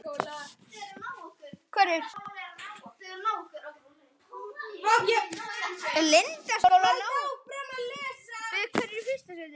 Ólafur, á hann þrjú börn.